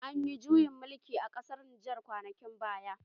Anyi juyin mulkii a ƙasar Nijar kwanakin baya